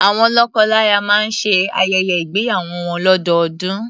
Awọn lọ́kọlaya máa ń ṣe ayẹyẹ ígbéyàwó wọn lọ́dọọdún.